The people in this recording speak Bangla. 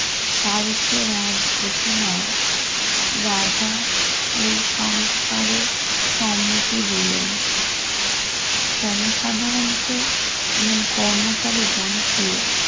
তারিখে এক ঘোষণায় রাজা এই সংস্কারে সম্মতি দিলেন জনসাধারণকে এবং কর্মচারীগণকে